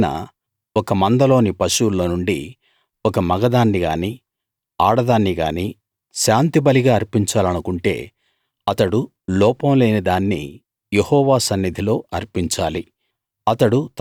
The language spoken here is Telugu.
ఎవరైనా ఒక మంద లోని పశువుల్లో నుండి ఒక మగదాన్ని గానీ ఆడదాన్ని గానీ శాంతిబలిగా అర్పించాలనుకుంటే అతడు లోపం లేని దాన్ని యెహోవా సన్నిధిలో అర్పించాలి